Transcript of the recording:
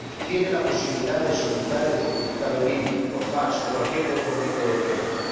tiene la posibilidad de solicitar el certificado en línea, por fax o cualquier otro método técnico.